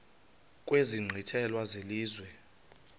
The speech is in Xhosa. kwezi nkqwithela zelizwe